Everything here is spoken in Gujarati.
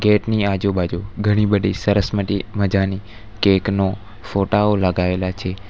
ગેટ ની આજુબાજુ ઘણી બધી સરસ મઢી મજાની કેક નો ફોટા ઓ લગાવેલા છે.